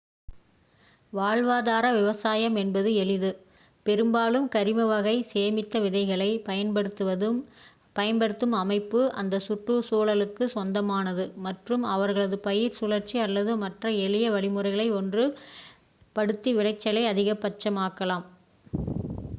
வாழ்வாதார விவசாயம் என்பது எளிது பெரும்பாலும் கரிம வகை சேமித்த விதைகளை பயன்படுத்தும் அமைப்பு அந்த சுற்றுச் சூழகுக்கு சொந்தமானது மற்றும் அவர்களது பயிர் சுழற்சி அல்லது மற்ற எளிய வழிமுறைகளைப் ஒன்று படுத்தி விளைச்சலை அதிக பட்சமாகாலாம்